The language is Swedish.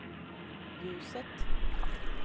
ljuset